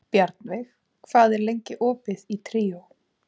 Bjarnveig, hvað er lengi opið í Tríó?